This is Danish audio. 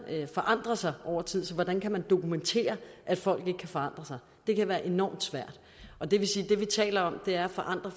forandrer sig over tid så hvordan kan man dokumentere at folk ikke kan forandre sig det kan være enormt svært og det vil sige at det vi taler om er at forandre